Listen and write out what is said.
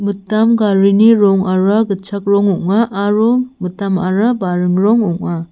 mitam garini rongara gitchak rong ong·a aro mitamara baring rong ong·a.